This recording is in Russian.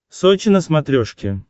сочи на смотрешке